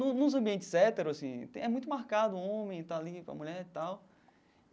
No nos ambientes héteros assim, é muito marcado o homem, está ali com a mulher e tal.